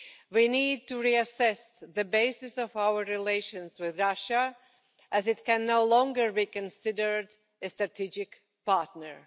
We need to reassess the basis of our relations with Russia, as it can no longer be considered a strategic partner.